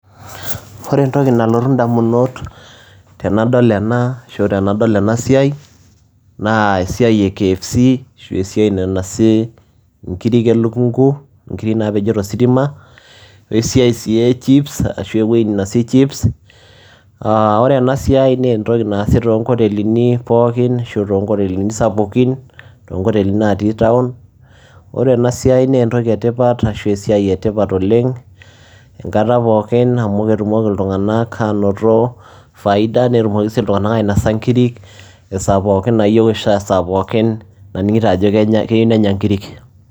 Wore entoki nalotu endamunot tenadol enaa arashua tenadol enaa siai naa esiai ee KFC ashu esiai nainosi inkiri elukungu inkiri naapejo toositima wesia sii echips ashu eweji ninosi chips aa wore enasiai naa esiai naasi toonkotelini pookin ashu toonkotelini sapukin toonkotelini naati town. Wore enasiai naa entoki etipat ashu esiai etipat oleng enkata pookin amu ketumoki iltunganak anoto faida netumoki sii iltunganak ainosa inkiri esaa pookin nayeu ashua esaa pookin nanigito ajo keyeu nenya inkiri.